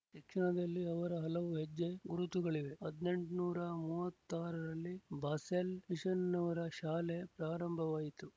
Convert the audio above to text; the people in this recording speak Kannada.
ಶಿಕ್ಷಣದಲ್ಲಿ ಅವರ ಹಲವು ಹೆಜ್ಜೆ ಗುರುತುಗಳಿವೆ ಹದ್ಎಂಟ್ನೂರ ಮೂವತ್ತ್ ಆರರಲ್ಲಿ ಬಾಸೆಲ್ ಮಿಶನ್‍ನವರ ಶಾಲೆ ಪ್ರಾರಂಭವಾಯಿತು